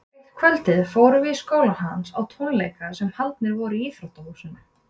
Eitt kvöldið fórum við í skólann hans á tónleika sem haldnir voru í íþróttahúsinu.